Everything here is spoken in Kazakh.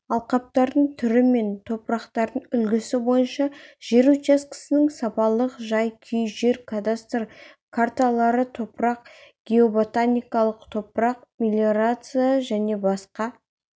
алқаптардың түрі мен топырақтардың үлгісі бойынша жер учаскесінің сапалық жай-күй жер-кадастр карталары топырақ геоботаникалық топырақ-мелиорация және басқа